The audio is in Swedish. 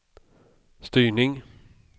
styrning